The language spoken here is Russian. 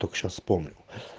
только сейчас вспомнил